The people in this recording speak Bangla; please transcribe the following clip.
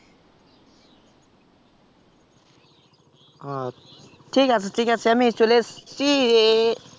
ঠিকাছে ঠিকাছে আমি চলে এসেছি